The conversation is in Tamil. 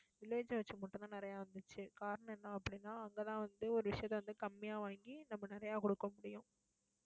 village அ வச்சு மட்டும்தான் நிறைய வந்துச்சு. காரணம் என்ன அப்படின்னா அங்கதான் வந்து, ஒரு விஷயத்த வந்து கம்மியா வாங்கி நம்ம நிறைய குடுக்க முடியும்